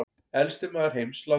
Elsti maður heims látinn